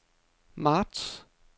marts